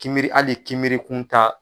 Kibiri hali ni kibirikun ta.